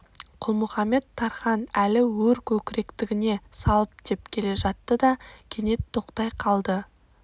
құлмұхамед-тархан әлі өр көкіректігіне салып деп келе жатты да кенет тоқтай қалды